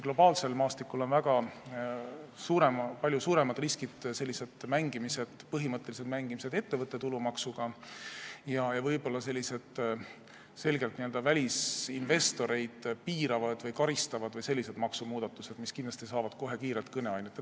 Globaalsel maastikul tekitavad palju suuremat riski põhimõttelised mängimised ettevõtte tulumaksuga ja võib-olla selgelt välisinvestoreid piiravad või karistavad maksumuudatused, mis kindlasti saavad kohe kiirelt kõneaineks.